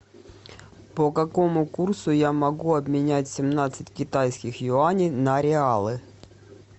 по какому курсу я могу обменять семнадцать китайских юаней на реалы